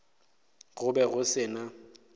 go be go se na